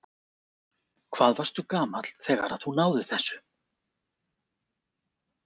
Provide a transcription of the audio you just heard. Hvað varstu gamall þegar að þú náðir þessu?